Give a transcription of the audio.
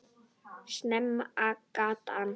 Sama gatan.